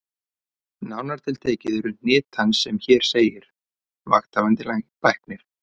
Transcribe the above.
Nánar tiltekið eru hnit hans sem hér segir: Vakthafandi Læknir